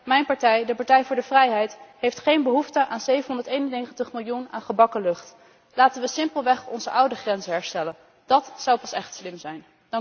Mijn partij, de Partij voor de Vrijheid, heeft geen behoefte aan 791 miljoen aan gebakken lucht. Laten we simpelweg onze oude grenzen herstellen. Dat zou pas echt slim zijn.